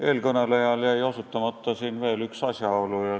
Eelkõnelejal jäi osutamata veel ühele asjaolule.